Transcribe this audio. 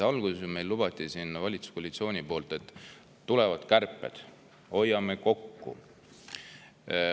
Alguses lubas valitsuskoalitsioon meile, et tulevad kärped ja hoiame kokku.